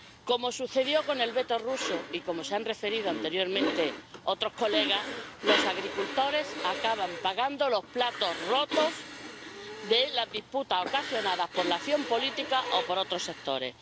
Como sucedió con el veto ruso, y como han referido anteriormente otros colegas, los agricultores acaban pagando los platos rotos de las disputas ocasionadas por la acción política o por otros sectores.